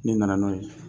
Ne nana n'o ye